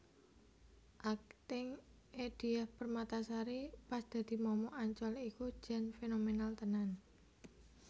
Akting e Diah Permatasari pas dadi momok Ancol iku jan fenomenal tenan